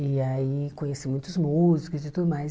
E aí conheci muitos músicos e tudo mais.